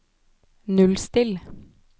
nullstill